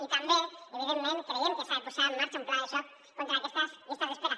i també evidentment creiem que s’ha de posar en marxa un pla de xoc contra aquestes llistes d’espera